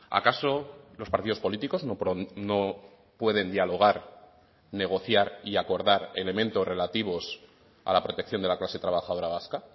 acaso los partidos políticos no pueden dialogar negociar y acordar elementos relativos a la protección de la clase trabajadora vasca